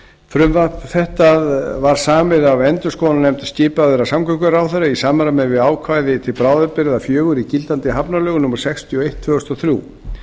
frumvarp þetta var samið af endurskoðunarnefnd skipaðri af samgönguráðherra í samræmi við ákvæði til bráðabirgða fjögur í gildandi hafnalögum númer sextíu og eitt tvö þúsund og þrjú